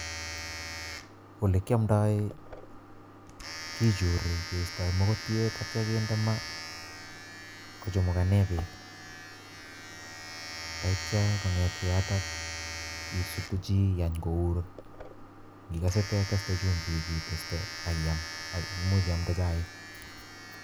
Ole kiamdoi kichuri keistoi mokotiet atya kinde maa kochamukane beek taiyto kongetgei yotok isutu chi igany kour ngikose teteshe chumbik iteste ak iam ak imuch iamte chaik.